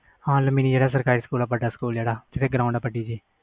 ਸਰਕਾਰੀ ਸਕੂਲ ਜਿਹੜਾ ਵੱਡਾ ਸਕੂਲ ਜਿਸ ਦੀ ਗਰਾਊਂਡ ਵੱਡੀ ਜੀ